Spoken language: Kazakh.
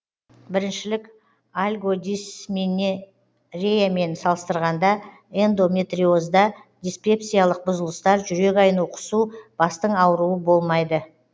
біріншілік альгодисменореямен салыстырғанда эндометриозда диспепсиялық бұзылыстар жүрек айну құсу бастың ауруы болмайды